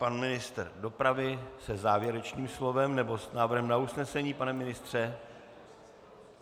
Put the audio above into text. Pan ministr dopravy se závěrečným slovem, nebo s návrhem na usnesení, pane ministře?